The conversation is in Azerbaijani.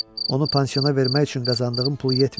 Onu pansiyona vermək üçün qazandığım pul yetmir.